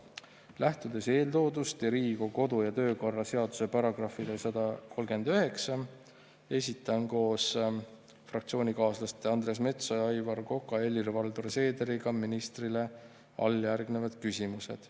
Lähtudes eeltoodust ja Riigikogu kodu‑ ja töökorra seaduse §-st 139 esitan koos fraktsioonikaaslaste Andres Metsoja, Aivar Koka, Helir-Valdor Seederiga ministrile alljärgnevad küsimused.